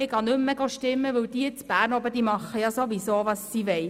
Ich gehe nicht mehr abstimmen, weil «die z'Bärn obe» ja ohnehin machen, was sie wollen.